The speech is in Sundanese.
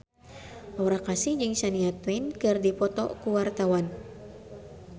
Aura Kasih jeung Shania Twain keur dipoto ku wartawan